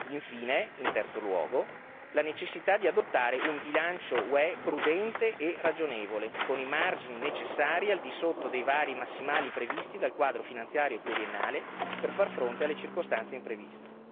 Infine, in terzo luogo, la necessità di adottare un bilancio UE prudente e ragionevole, con i margini necessari al di sotto dei vari massimali previsti dal quadro finanziario pluriennale per far fronte alle circostanze impreviste.